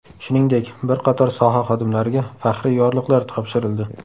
Shuningdek, bir qator soha xodimlariga faxriy yorliqlar topshirildi.